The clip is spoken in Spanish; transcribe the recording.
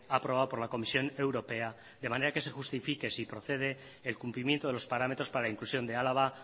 aprobado por la comisión europea de manera que se justifique si procede el cumplimiento de los parámetros para la inclusión de álava